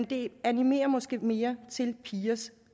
det animerer måske mere til pigers